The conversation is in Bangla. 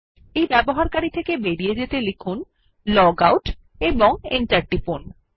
ইউসার থেকে বেরিয়ে যেতে লিখুন লগআউট এবং এন্টার টিপুন